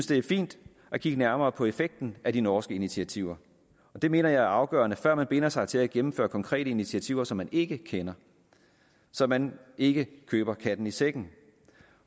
det er fint at kigge nærmere på effekten af de norske initiativer det mener jeg er afgørende før man binder sig til at gennemføre konkrete initiativer som man ikke kender så man ikke køber katten i sækken